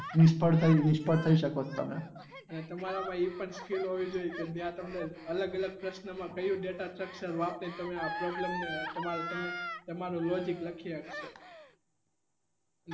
એ તમારા માં એ પણ skill હોવી જોઈએ કે આપને અલગ અલગ પ્રશ્ન માં data કઈ શક્ષમ આપી ને આ problem ને તમારો logic વાપરી શકો